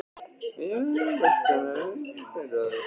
Ég vil enga mexíkanska lykt hingað inn í íbúðina!